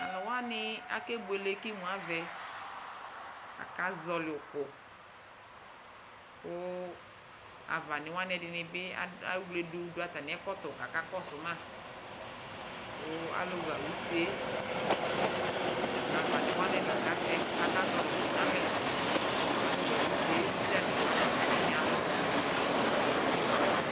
Tʋ alʋ wanɩ akebuele kʋ imu avɛ Akazɔɣɔlɩ ʋkʋ kʋ avanɩ wanɩ ɛdɩnɩ bɩ ad ewledu dʋ atamɩ ɛkɔtɔ kʋ akakɔsʋ ma kʋ alʋɣa use yɛ nʋ avanɩ wanɩ la katɛ, azɔɣɔlɩ ʋkʋ yɛ nʋ alɛ Kʋ alʋɣa use yɛ, sɔdzanɩ wa, ɛdɩnɩ alɔ kpɔ nʋ utikpǝ